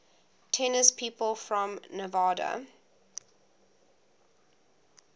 tennis people from nevada